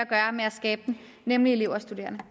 skabe den nemlig elever og studerende